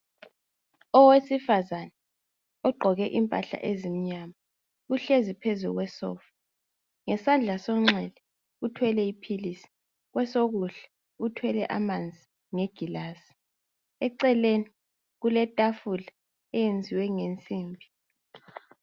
Owesifazana ogqoke impahla ezimnyama uhlezi phezu kwesofa, ngesandla senxele uthwele iphilizi kwesokudla uthwele amanzi ngegilasi eceleni kuletafula eyenziwe ngensimbi.